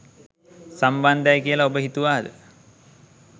සම්බන්ධයි කියලා ඔබ හිතුවාද?